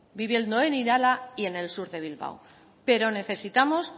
viviendo en irala y en sur de bilbao pero necesitamos